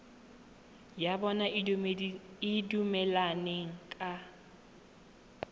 ya bona e dumelaneng ka